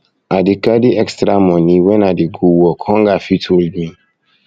i dey carry extra moni wen i dey go work hunger fit hold me